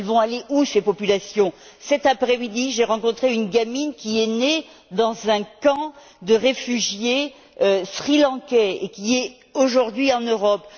Où vont aller ces populations? Cet après midi, j'ai rencontré une gamine qui est née dans un camp de réfugiés sri lankais et qui est aujourd'hui en Europe.